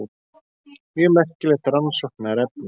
Mjög merkilegt rannsóknarefni.